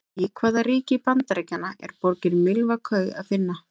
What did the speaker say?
Í hvaða ríki Bandaríkjanna er borgina Milwaukee að finna?